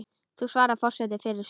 Nú svarar forseti fyrir sig.